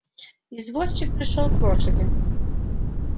извозчик пришёл к лошади